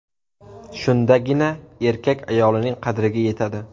Shundagina erkak ayolining qadriga yetadi.